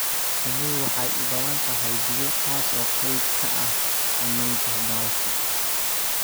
Shinnidu waxay u baahan tahay biyo taasoo qayb ka ah samaynta malabka.